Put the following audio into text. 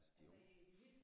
Altså de unge